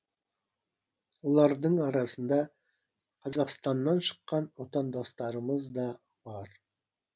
олардың арасында қазақстаннан шыққан отандастарымыз да бар